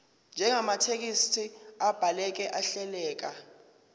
njengamathekisthi abhaleke ahleleka